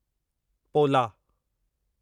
पोला